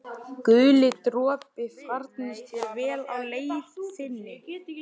Guli dropi, farnist þér vel á leið þinni.